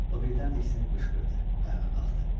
O birdən diksinib qışqırdı, ayağa qalxdı.